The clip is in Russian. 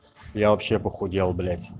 я вообще похудел блять